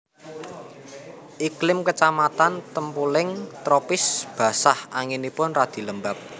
Iklim kecamatan Tempuling tropis basah anginipun radi lembab